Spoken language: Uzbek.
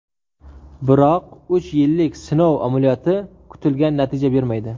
Biroq uch yillik sinov amaliyoti kutilgan natijani bermaydi.